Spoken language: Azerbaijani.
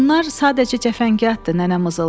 Bunlar sadəcə cəfəngiyatdır, nənə mızıldadı.